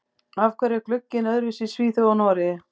Af hverju er glugginn öðruvísi í Svíþjóð og Noregi?